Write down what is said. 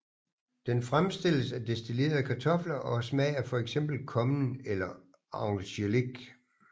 Den fremstilles af destillerede kartofler og har smag af fx kommen eller angelik